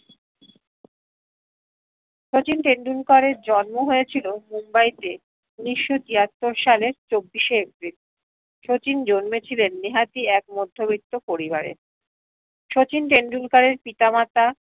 শচীন টেন্ডুলকারের জন্ম হয়েছিলো মুম্বাইতে উনিশশো তেয়াত্তর সালে ছব্বিশে এপ্রিল শচীন জন্মেছিলেন নিহাতি এক মধ্যবৃত্ত পরিবারে শচীব টেন্ডুলকারের পিতা মাতা